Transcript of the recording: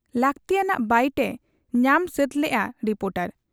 ᱞᱟᱹᱠᱛᱤ ᱟᱱᱟᱜ ᱵᱟᱭᱤᱴ ᱮ ᱧᱟᱢ ᱥᱟᱹᱛ ᱞᱮᱜ ᱟ ᱨᱤᱯᱚᱴᱚᱨ ᱾